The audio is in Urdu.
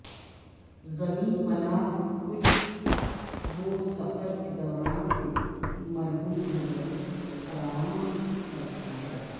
زمین ملاح کچھ وہ سفر کے دوران سے محروم ہوگئے فراہم کرتا ہے